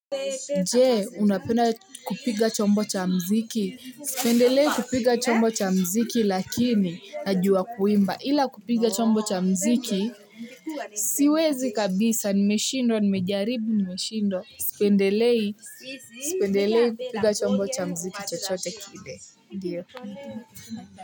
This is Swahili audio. Je, unapenda kupiga chombo cha muziki? Sipendelei kupiga chombo cha muziki lakini najua kuimba. Ila kupiga chombo cha muziki, siwezi kabisa nimeshindwa, nimejaribu nimeshindwa. Sipendelei kupiga chombo cha muziki chochote kile. Ndio.